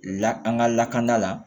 La an ka lakana la